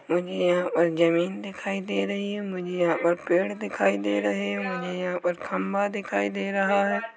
मुझे यहाँ पर ज़मीन दिखाई दे रही है मुझे यहाँ पर पेड़ दिखाई दे रहे है मुझे यहाँ पर खम्भा दिखाई दे रहा हैं।